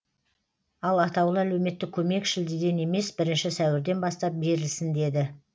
ал атаулы әлеуметтік көмек шілдеден емес бірінші сәуірден бастап берілсін деді